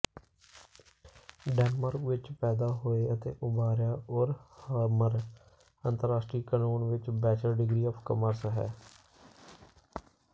Denmark ਵਿੱਚ ਪੈਦਾ ਹੋਏ ਅਤੇ ਉਭਾਰਿਆ ਉਰਹਮਰ ਅੰਤਰਰਾਸ਼ਟਰੀ ਕਾਨੂੰਨ ਵਿੱਚ ਬੈਚਲਰ ਡਿਗਰੀ ਆਫ ਕਾਮਰਸ ਹੈ